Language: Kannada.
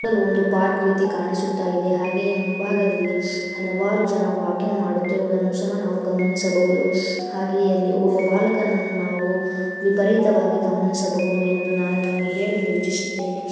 ಒಂದು ಪಾರ್ಕ್ ಕಾಣಿಸುತ್ತಾಯಿದೆ. ಹಾಗೆ ಈ ಮುಂಬಾಗದಲ್ಲಿ ಹಲವಾರು ಜನ ವಾಕಿಂಗ್ ಮಾಡುತ್ತಿರುವುದನ್ನ ಸಹಾ ನಾವು ಗಮನಿಸಬಹುದು. ಹಾಗೆ ಅಲ್ಲಿ ಓವ್ರ ಬಾಲಕನನ್ನು ನಾವು ವಿಪರೀತವಾಗಿ ಗಮನಿಸಬಹುದು ಎಂದು ನಾನು ನಿಮಗೆ ಹೇಳಲು ವಿಚಿಸುತ್ತೇನೆ.